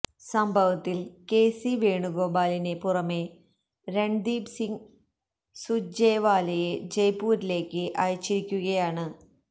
സംഭവത്തില് കെസി വേണുഗോപാലിന് പുറനെ രണ്ദീപ് സിംഗ് സുര്ജേവാലയെ ജയ്പൂരിലേക്ക് അയച്ചിരിക്കുകയാണ്